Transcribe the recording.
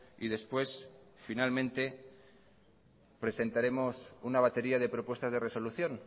y después finalmente presentaremos una batería de propuestas de resolución